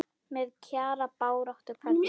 Með Kjara baráttu kveðju.